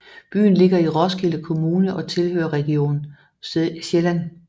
Byen ligger i Roskilde Kommune og tilhører Region Sjælland